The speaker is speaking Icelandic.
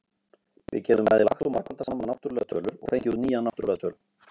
Við getum bæði lagt og margfaldað saman náttúrlegar tölur, og fengið út nýja náttúrlega tölu.